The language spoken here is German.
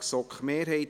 Antrag GSoK-Mehrheit